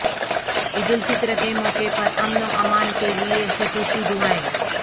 عید الفطرکے موقع پر امن و امان کے لیے خصوصی دعائیں